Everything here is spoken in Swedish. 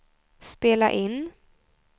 spela in